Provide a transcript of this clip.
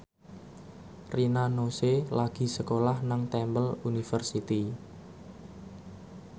Rina Nose lagi sekolah nang Temple University